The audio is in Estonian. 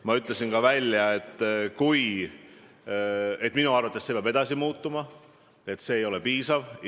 Ma ütlesin, et minu arvates see retoorika peab veelgi muutuma, et see muudatus ei ole piisav.